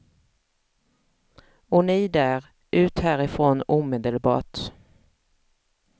Och ni där, ut härifrån omedelbart.